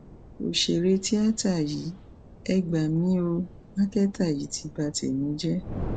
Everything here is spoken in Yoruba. ọsẹrẹ tíata yìí e gbà mí o màkẹta yìí ti ba tèmi jẹ